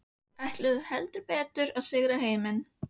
Ætluðu heldur betur að sigra heiminn.